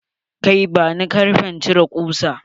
Kai, bani karfen cire kusa.